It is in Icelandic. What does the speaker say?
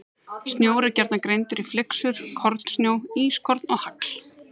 Snjór er gjarnan greindur í flyksur, kornsnjó, ískorn og hagl.